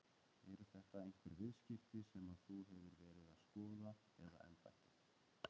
Eru þetta einhver viðskipti sem að þú hefur verið að skoða eða embættið?